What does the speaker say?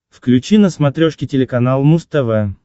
включи на смотрешке телеканал муз тв